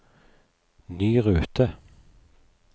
ny rute